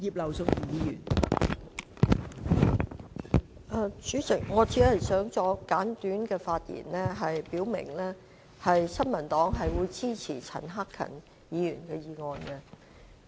代理主席，我只想作簡短發言，表明新民黨會支持陳克勤議員的議案。